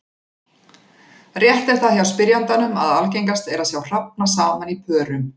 Rétt er það hjá spyrjandanum að algengast er að sjá hrafna saman í pörum.